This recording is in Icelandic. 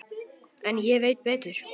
En ég veit betur.